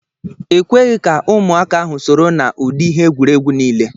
Ekweghị ka ụmụaka ahụ soro na udi ihe egwuregwu niile.